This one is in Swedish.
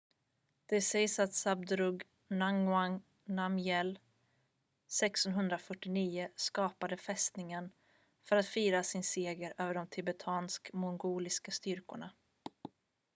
det sägs att zhabdrung ngawang namgyel 1649 skapade fästningen för att fira sin seger över de tibetansk-mongolska styrkorna